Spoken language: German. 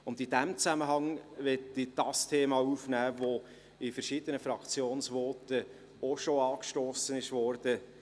In diesem Zusammenhang möchte ich jenes Thema aufnehmen, welches in verschiedenen Fraktionsvoten bereits angesprochen wurde.